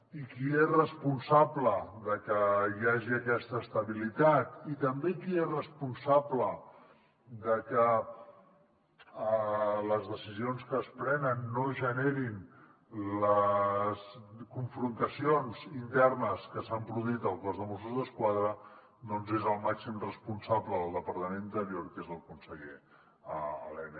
i qui és responsable de que hi hagi aquesta estabilitat i també qui és responsable de que les decisions que es prenen no generin les confrontacions internes que s’han produït al cos de mossos d’esquadra doncs és el màxim responsable del departament d’interior que és el conseller elena